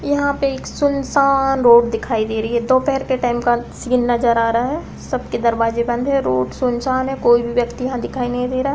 यहाँ पे एक सुनसान रोड दिखाई दे रही है दोपहेर के टाइम का सीन नजर आ रहा है सबके दरवाजे बंद है रोड सुनसान है कोई भी व्यक्ति यहाँ दिखाई नहीं दे रहा है।